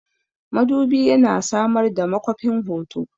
Madubi yana samar da makwafin hoto.